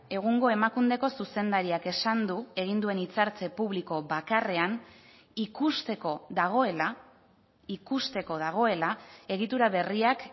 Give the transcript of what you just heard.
egungo emakundeko zuzendariak esan du egin duen hitzartze publiko bakarrean ikusteko dagoela ikusteko dagoela egitura berriak